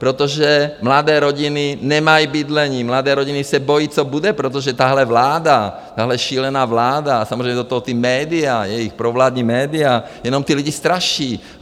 Protože mladé rodiny nemají bydlení, mladé rodiny se bojí, co bude, protože tahle vláda, tahle šílená vláda, samozřejmě do toho ta média, jejich provládní média, jenom ty lidi straší.